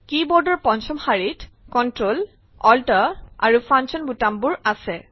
কী বোৰ্ডৰ পঞ্চম শাৰীত Ctrl কন্ট্ৰল Alt অল্টাৰ আৰু ফাংচন বুটামবোৰ আছে